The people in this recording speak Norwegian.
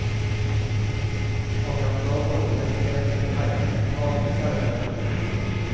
Akkurat nå bor vi vel tre stykker her, men vanligvis er det fem.